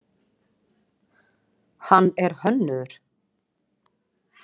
Hann er hönnuður.